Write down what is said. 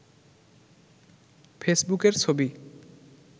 ফেসবুকের ছবি